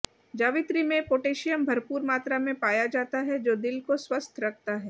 जावित्री में पोटेशियम भरपूर मात्रा में पाया जाता है जो दिल को स्वस्थ रखता है